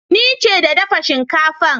Ni ce da dafa shinkafan.